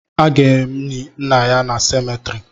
A ga-eni nna ya na semetiri